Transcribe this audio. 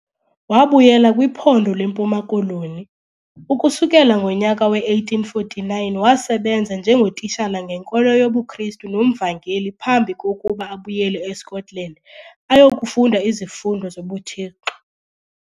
Wabuyela kwiphondo leMpuma Koloni, ukusukela ngonyaka we-1849 wasebenza njengotitshala ngenkolo yobuKrisru nomvangeli phambi kokuba abuyele eScotland ayokufunda izifundo zobuThixo.